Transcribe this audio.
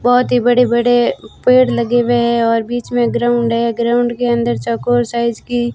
बहोत ही बड़े बड़े पेड़ लगे हुए है और बीच में ग्राउंड है ग्राउंड के अंदर चौकोर साइज की--